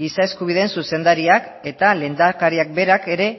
giza eskubideen zuzendariak eta lehendakariak berak ere